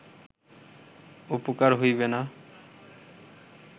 উপকার হইবে না